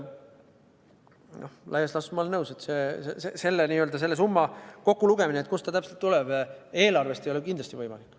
Laias laastus ma olen nõus, et selle summa kokkulugemine, kust ta täpselt tuleb, eelarvest ei ole kindlasti võimalik.